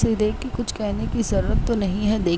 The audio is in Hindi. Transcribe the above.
इसे देख के कुछ कहने की जरूरत तो नहीं है दे --